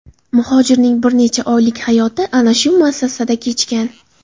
Muhojirning bir necha oylik hayoti ana shu muassasada kechgan.